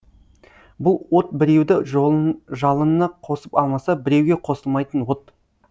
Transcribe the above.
бұл от біреуді жалынына қосып алмаса біреуге қосылмайтын от